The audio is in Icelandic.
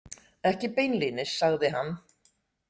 Ekki beinlínis, sagði hann.